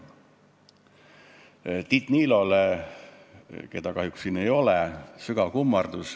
Sügav kummardus Tiit Niilole, keda siin kahjuks ei ole.